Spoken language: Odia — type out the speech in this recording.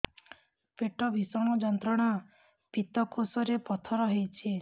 ପେଟ ଭୀଷଣ ଯନ୍ତ୍ରଣା ପିତକୋଷ ରେ ପଥର ହେଇଚି